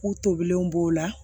K'u tobilenw b'o la